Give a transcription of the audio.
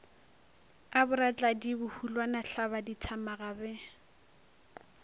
a boratladi bohulwana thlabadithamaga be